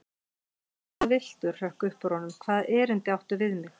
Hvað viltu hrökk upp úr honum, hvaða erindi áttu við mig?